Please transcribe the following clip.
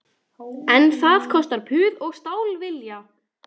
En það kostar puð og stálvilja